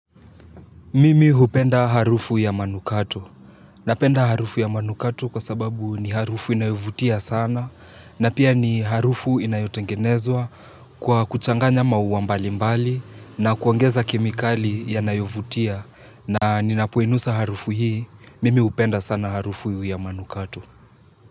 Mimi hupenda harufu ya manukato. Napenda harufu ya manukato kwa sababu ni harufu inayovutia sana. Na pia ni harufu inayotengenezwa kwa kuchanganya mauwa mbalimbali na kuongeza kemikali yanayovutia. Na ninapoinusa harufu hii, mimi hupenda sana harufu ya manukato.